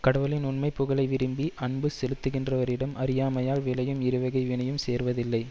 கடவுளின் உண்மை புகழை விரும்பி அன்பு செலுத்துகின்றவரிடம் அறியாமையால் விளையும் இருவகை வினையும் சேர்வதில்லை